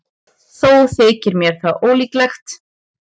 Þó þykir mér það ólíklegt.